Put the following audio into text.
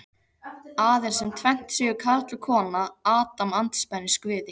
Aðeins sem tvennd séu karl og kona Adam andspænis Guði.